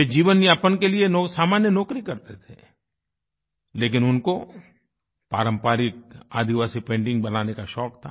वे जीवन यापन के लिए सामान्य नौकरी करते थे लेकिन उनको पारम्परिक आदिवासी पेंटिंग बनाने का शौक था